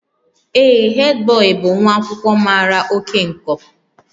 Ee, headboy bụ nwa akwụkwọ mara oke nkọ